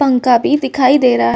पंका बी दिखाई दे रहा।